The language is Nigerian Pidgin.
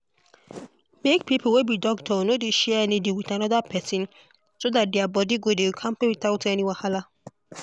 make people wey be doctor no dey share needle with another person so that their body go dey kampe without any wahala.